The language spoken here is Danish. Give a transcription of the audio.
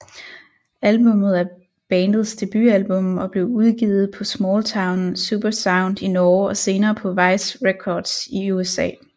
Albumet er bandets debutalbum og blev udgivet på Smalltown Supersound i Norge og senere på Vice Records i USA